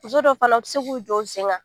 Muso dɔw fana tɛ se k'u jɔ u sen kan